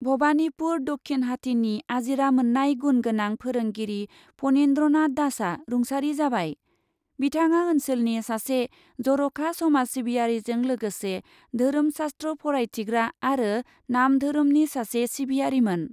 भबानिपुर दक्षीनहाथिनि आजिरा मोन्नाय गुण गोनां फोरोंगिरि पनिन्द्रनाथ दासआ रुंसारि जाबाय, बिथाङा ओन्सोलनि सासे जर'खा समाज सिबियारिजों लोगोसे धोरोम शाश्त्र फरायथिग्रा आरो नामधोरोमनि सासे सिबियारिमोन।